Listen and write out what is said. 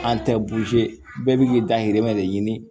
An tɛ bɛɛ bi k'i dahirimɛ de ɲini